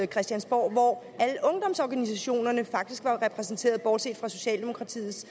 christiansborg hvor alle ungdomsorganisationerne faktisk var repræsenteret bortset fra socialdemokratiets